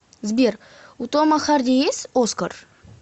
сбер у тома харди есть оскар